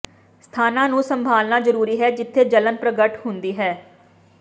ਸਥਾਨਾਂ ਨੂੰ ਸੰਭਾਲਣਾ ਜਰੂਰੀ ਹੈ ਜਿੱਥੇ ਜਲਣ ਪ੍ਰਗਟ ਹੁੰਦੀ ਹੈ